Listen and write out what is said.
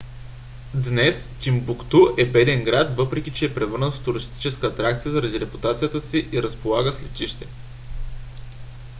днес тимбукту е беден град въпреки че е превърнат в туристическа атракция заради репутацията си и разполага с летище